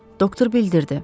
Doktor bildirdi.